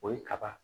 O ye kaba